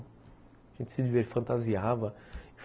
A gente se, fantasiava.